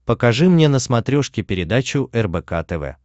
покажи мне на смотрешке передачу рбк тв